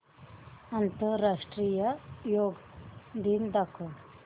आंतरराष्ट्रीय योग दिन दाखव